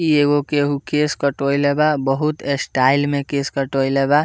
इ एगो केहु केस कटवइले बा बहुत स्टाइल में केश कटवइले बा।